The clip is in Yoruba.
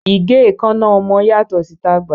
Ìgé ẹ̀ẹ́kánná ọmọ yàtọ̀ sí tàgbà